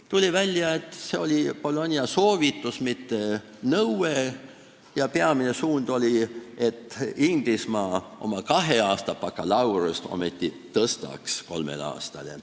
Tuli välja, et see oli soovitus, mitte nõue, ja peamine eesmärk oli, et Inglismaa oma kaheaastast bakalaureuseõpet pikendaks ometi kolme aastani.